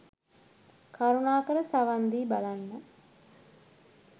කරුණාකර සවන් දී බලන්න